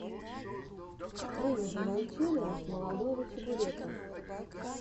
выведи мне челлендж молодого чебурека